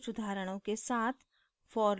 कुछ उदाहरणों के साथ